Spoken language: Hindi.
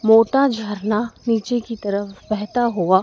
मोटा झरना नीचे की तरफ बेहता हुवा--